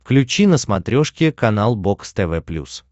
включи на смотрешке канал бокс тв плюс